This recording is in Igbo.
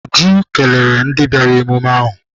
Uju kelere ndị bịara emume ahụ.